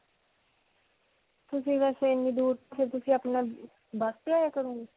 ਤੁਸੀਂ ਵੈਸੇ ਇੰਨੀ ਦੂਰ ਬਸ ਤੇ ਆਇਆ ਕਰੋਗੇ?